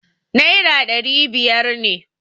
Naira dari biyar ne.